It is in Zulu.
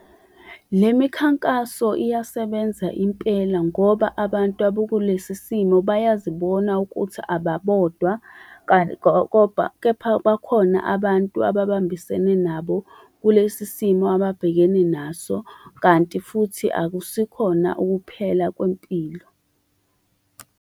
Le mikhankaso iyasebenza impela ngoba abantu abakulesi simo bayazibona ukuthi ababodwa , kepha bakhona abantu ababambisene nabo kulesi simo ababhekene naso, kanti futhi akusikhona ukuphela kwempilo.